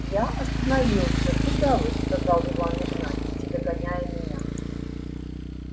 я остановился куда вы сказал иван игнатьич догоняя меня